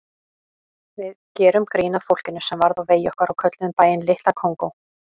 Við gerðum grín að fólkinu sem varð á vegi okkar og kölluðum bæinn Litla Kongó.